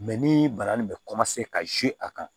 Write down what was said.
ni bana nin bɛ ka a kan